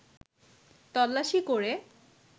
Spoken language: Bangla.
তল্লাশি করে